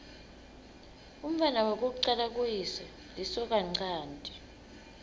umntfwana wekucala kuyise lisokanchanti